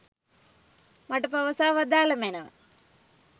මට පවසා වදාළ මැනව.